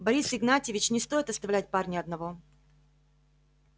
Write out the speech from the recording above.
борис игнатьевич не стоит оставлять парня одного